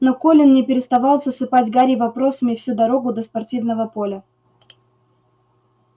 но колин не переставал засыпать гарри вопросами всю дорогу до спортивного поля